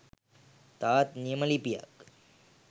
තවත් නියම ලිපියක්